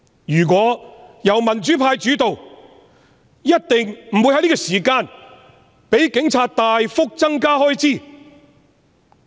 如果香港由民主派主導，一定不會在此時讓警隊大幅增加開支。